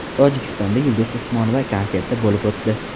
Tojikistonda Yulduz Usmonova konserti bo‘lib o‘tdi.